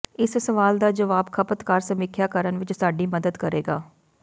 ਇਸ ਸਵਾਲ ਦਾ ਜਵਾਬ ਖਪਤਕਾਰ ਸਮੀਖਿਆ ਕਰਨ ਵਿਚ ਸਾਡੀ ਮਦਦ ਕਰੇਗਾ